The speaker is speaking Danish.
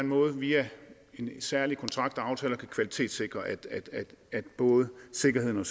måde via en særlig kontrakt eller aftale kan kvalitetssikre at både sikkerheden